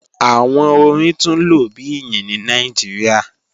Awọn ọ̀rìn tun lo bi iyin ni Nigeria